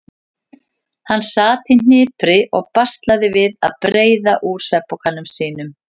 Hann sat í hnipri og baslaði við að breiða úr svefnpokanum sínum.